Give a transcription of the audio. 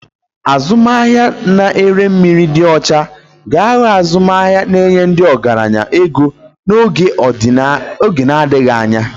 Azụmahịa na-ere mmiri dị ọcha ga-aghọ azụmahịa na-enye ndị ọgaranya ego n'oge na-adịghị anya.